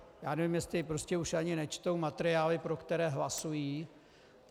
Já nevím, jestli už ani nečtou materiály, pro které hlasují.